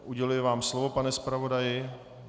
Uděluji vám slovo, pane zpravodaji.